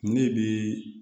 Ne bi